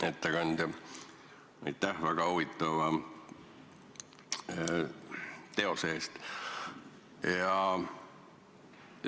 Hea ettekandja, aitäh väga huvitava teose eest!